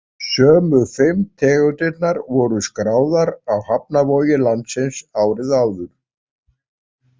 Sömu fimm tegundirnar voru skráðar á hafnarvogir landsins árið áður.